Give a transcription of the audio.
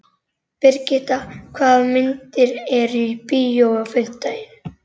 Brigitta, hvaða myndir eru í bíó á fimmtudaginn?